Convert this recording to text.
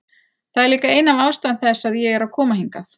Það er líka ein af ástæðum þess að ég er að koma hingað.